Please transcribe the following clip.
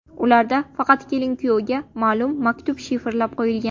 Ularda faqat kelin-kuyovga ma’lum maktub shifrlab qo‘yilgan.